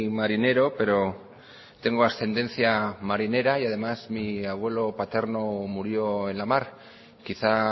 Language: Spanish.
marinero pero tengo ascendencia marinera y además mi abuelo paterno murió en la mar quizá